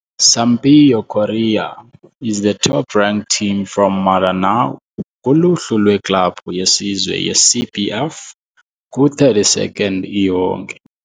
Sampaio Corrêa is the top ranked team from Maranhão kuluhlu lweklabhu yesizwe yeCBF, ku-32nd iyonke.